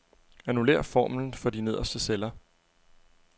Annullér formlen for de nederste celler.